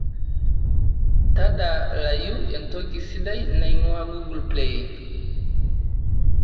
tadalayu entoki sidai naing'uaa google play